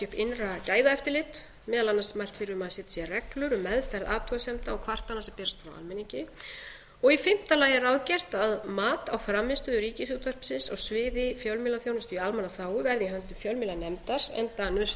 innra gæðaeftirlit meðal annars mælt fyrir um að setja reglur um meðferð athugasemda og kvartana sem berast frá almenningi í fimmta lagi er ráðgert að mat á frammistöðu ríkisútvarpsins á sviði fjölmiðlaþjónustu í almannaþágu verði í höndum fjölmiðlanefndar enda nauðsynlegt